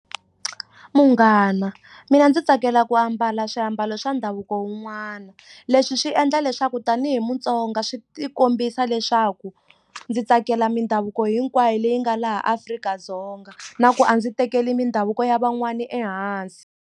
Munghana mina ndzi tsakela ku ambala swiambalo swa ndhavuko wun'wana leswi swi endla leswaku tanihi mutsonga swi ti kombisa leswaku ndzi tsakela mindhavuko hinkwayo leyi nga laha Afrika-Dzonga na ku a ndzi tekeli mindhavuko ya van'wana ehansi.